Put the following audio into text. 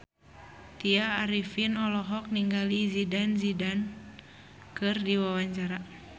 Tya Arifin olohok ningali Zidane Zidane keur diwawancara